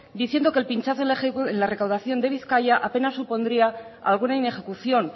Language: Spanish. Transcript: diciendo que el pinchazo en la recaudación de bizkaia apenas supondría alguna inejecución